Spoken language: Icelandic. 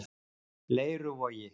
Leiruvogi